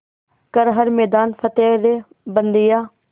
कर हर मैदान फ़तेह रे बंदेया